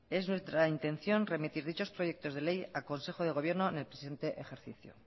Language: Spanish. es nuestra intención remitir dichos proyectos de ley a consejo de gobierno en el presente ejercicio